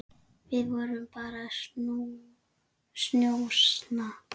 Við vorum bara að njósna,